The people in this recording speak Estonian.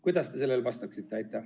Kuidas te sellele vastaksite?